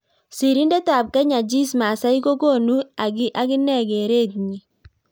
Sirindet ap Kenyan Jesse Masai kokonuu aginee kereet nyii